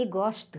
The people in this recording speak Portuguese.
E gosto.